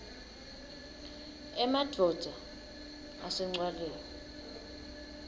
emadvodza ase ncwaleni